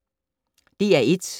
DR1